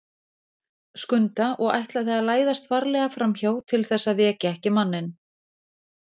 Skunda og ætlaði að læðast varlega framhjá til þess að vekja ekki manninn.